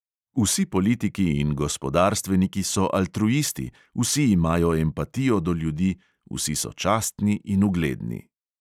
Vsi politiki in gospodarstveniki so altruisti, vsi imajo empatijo do ljudi, vsi so častni in ugledni.